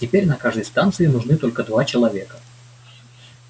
теперь на каждой станции нужны только два человека